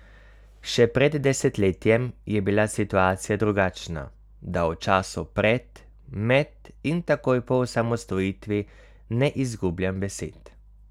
Še pred desetletjem je bila situacija drugačna, da o času pred, med in takoj po osamosvojitvi ne izgubljam besed.